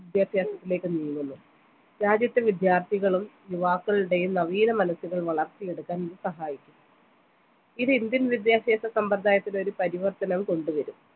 വിദ്യാഭ്യാസത്തിലേക്കു നീങ്ങുന്നു രാജ്യത്ത് വിദ്യാർത്ഥികളും യുവാക്കളുടെയും നവീനമനസുകൾ വളർത്തിയെടുക്കാൻ ഇത് സഹായിക്കും ഇത് indian വിദ്യാഭ്യാസ സമ്പ്രദായത്തിലെ ഒരു പരിവർത്തനവും കൊണ്ടുവരും